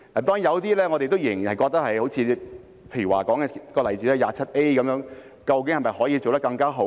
當然，我們仍然覺得有些好像......例如第 27A 條究竟可否做得更好？